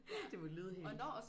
Det vil lyde helt